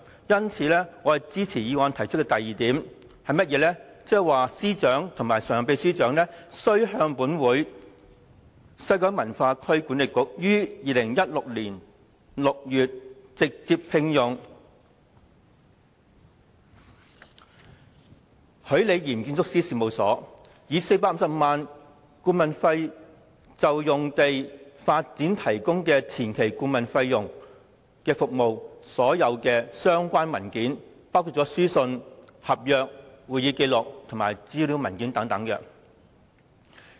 有見及此，我支持議案提出的第二點，向司長及常任秘書長提出要求，就西九管理局於2016年6月直接聘用許李嚴建築師事務所，以450萬元顧問費就用地發展提供前期顧問服務一事，向本會提交所有相關文件，包括書信、合約、會議紀錄及資料文件等。